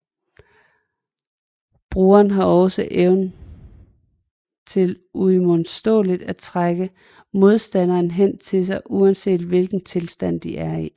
Brugeren har også evnen til uimodståligt at trække modstanderen hen til sig uanset hvilken tilstand de er i